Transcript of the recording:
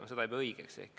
Ma ei pea seda õigeks.